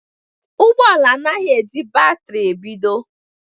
Ụgbọ ala anaghị eji batrị ebido